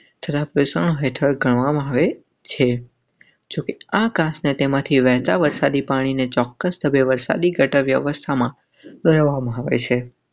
ખેરા પ્રશાસન હેઠળ કરવામાં આકાશને તેમાંથી વહેતાં વરસાદી પાણીને ચોક્કસ સમયે વરસાદી ગટર વ્યવસ્થામાં.